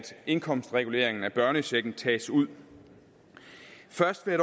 indkomstreguleringen af børnechecken tages ud først vil